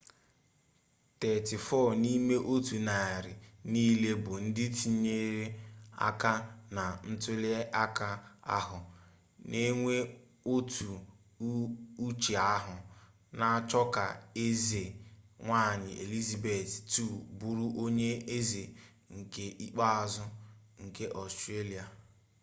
34 nime-otu-nari-nile bu ndi tinyere aka na ntuli aka ahu n'enwe otu uche ahu n'acho ka eze-nwanyi elizabeth ii buru onye eze nke ikpeazu nke australia